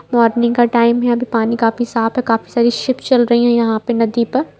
Morning का time है अभी पानी काफी साफ़ है काफी सारी शिप चल रहीं हैं यहाँ पे नदी पर।